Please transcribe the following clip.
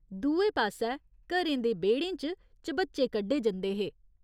दुए पास्सै घरें दे बेह्ड़ें च च'बच्चे कड्ढे जंदे हे।